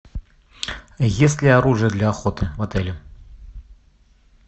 есть ли оружие для охоты в отеле